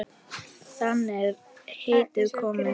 Þaðan er heitið komið.